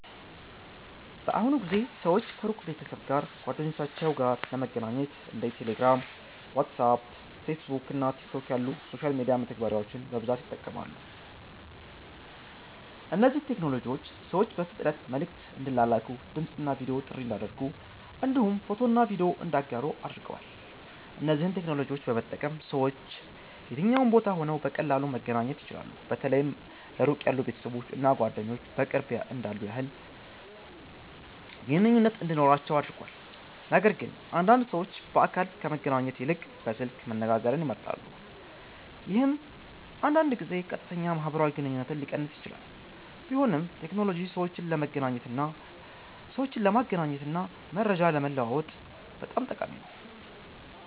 በአሁኑ ጊዜ ሰዎች ከሩቅ ቤተሰብ እና ጓደኞቻቸው ጋር ለመገናኘት እንደ ቴሌግራም፣ ዋትስአፕ፣ ፌስቡክ እና ቲክቶክ ያሉ የሶሻል ሚዲያ መተግበሪያዎችን በብዛት ይጠቀማሉ። እነዚህ ቴክኖሎጂዎች ሰዎች በፍጥነት መልዕክት እንዲላላኩ፣ ድምፅ እና ቪዲዮ ጥሪ እንዲያደርጉ እንዲሁም ፎቶና ቪዲዮ እንዲያጋሩ አድርገዋል። እነዚህን ቴክኖሎጂዎች በመጠቀም ሰዎች ከየትኛውም ቦታ ሆነው በቀላሉ መገናኘት ይችላሉ። በተለይ ለሩቅ ያሉ ቤተሰቦች እና ጓደኞች በቅርብ እንዳሉ ያህል ግንኙነት እንዲኖራቸው አድርጓል። ነገርግን አንዳንድ ሰዎች በአካል ከመገናኘት ይልቅ በስልክ መነጋገርን ይመርጣሉ፣ ይህም አንዳንድ ጊዜ ቀጥተኛ ማህበራዊ ግንኙነትን ሊቀንስ ይችላል። ቢሆንም ቴክኖሎጂ ሰዎችን ለመገናኘት እና መረጃ ለመለዋወጥ በጣም ጠቃሚ ነው።